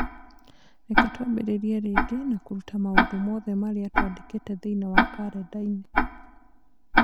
Reke twambĩrĩrie rĩngĩ na kũruta maũndũ mothe marĩa twandĩkĩte thĩinĩ wa kalendarĩ